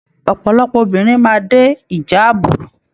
Ọpọlọpọ obìnrin máa dé ìjàábú.